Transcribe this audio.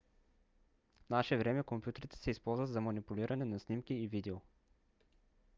в наше време компютрите се използват за манипулиране на снимки и видео